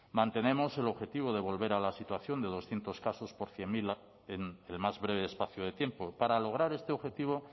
mantenemos el objetivo de volver a la situación de doscientos casos por cien mil en el más breve espacio de tiempo para lograr este objetivo